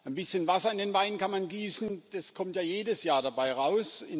Ein bisschen Wasser in den Wein kann man gießen, das kommt ja jedes Jahr dabei raus.